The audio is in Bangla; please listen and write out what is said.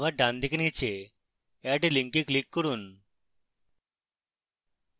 আবার ডানদিকে নীচে add link click করুন